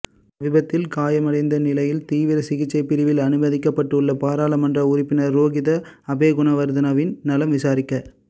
விபத்தில் காயமடைந்த நிலையில் தீவிர சிகிச்சை பிரிவில் அனுமதிக்கப்பட்டுள்ள பாராளுமன்ற உறுப்பினர் ரோஹித அபேகுணவர்தனவின் நலம் விசாரிக்க